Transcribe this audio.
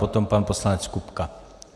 Potom pan poslanec Kupka.